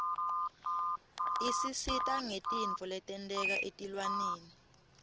isisita ngetintfo letenteka etilwaneni